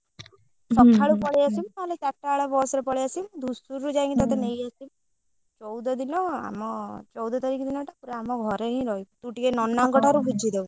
ଆସିବୁ ନହେଲେ ଚାଟା ବେଳେ ବସରେ ପଳେଇଆସିବୁ ମୁଁ ଧୂସୁରୀରୁ ଯାଇକି ତତେ ନେଇ ଆସିବି ଚଉଦଦିନ ଆମ ଚଉଦ ତାରିଖ ଦିନ ଟା ପୁରା ଆମ ଘରେ ହିଁ ରହିବୁ ତୁ ଟିକେ ନନାଙ୍କ ଠାରୁ ବୁଝି ଦବୁ।